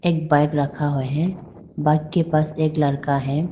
एक बाइक रखा हुआ है। बाइक के पास एक लड़का है।